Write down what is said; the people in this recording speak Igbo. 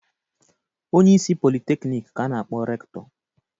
Onyeisi Politeknik ka a na-akpọ Rektọ.